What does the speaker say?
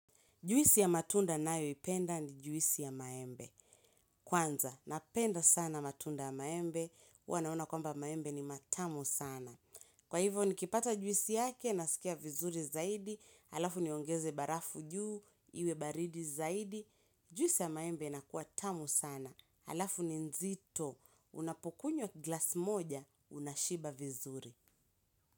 Juisi ya matunda ninayoipenda ni juisi ya maembe. Kwanza, napenda sana matunda ya maembe. Huwa naona kwamba maembe ni matamu sana. Kwa hivyo, nikipata juisi yake, nasikia vizuri zaidi. Halafu niongeze barafu juu, iwe baridi zaidi. Juisi ya maembe inakua tamu sana. Halafu ni nzito, unapokunywa glasi moja, unashiba vizuri.